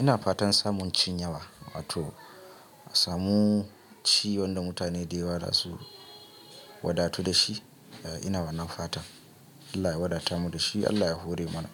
Ina fatan samun cinyawa, wato samu ci wanda mutane da yawa za su wadatu da shi. Ina wannan fatan Allah ya wadata mu da shi. Allah ya hore mana